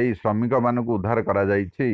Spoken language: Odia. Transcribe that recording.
ଏହି ଶ୍ରମିକମାନଙ୍କୁ ଉଦ୍ଧାର କରାଯାଇଛି